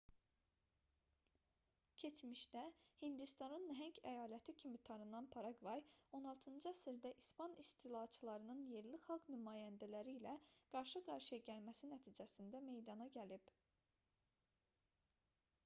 keçmişdə hindistanın nəhəng əyaləti kimi tanınan paraqvay 16-cı əsrdə i̇span istilaçılarının yerli xalq nümayəndələri ilə qarşı-qarşıya gəlməsi nəticəsində meydana gəlib